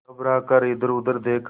घबरा कर इधरउधर देखा